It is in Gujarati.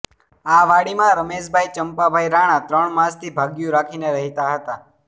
આ વાડીમાં રમેશભાઈ ચંપાભાઈ રાણા ત્રણ માસથી ભાગીયું રાખીને રહેતા હતા